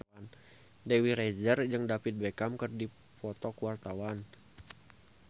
Dewi Rezer jeung David Beckham keur dipoto ku wartawan